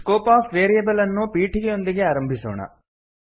scope of variable ಅನ್ನು ಪೀಠಿಕೆಯೊಂದಿಗೆ ಪ್ರಾರಂಭಿಸೋಣ